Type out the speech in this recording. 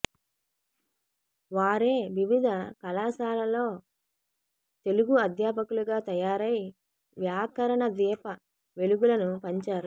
వారే వివిధ కళాశాలలో తెలుగు అధ్యాపకులుగా తయారై వ్యాకరణ దీప వెలుగులను పంచారు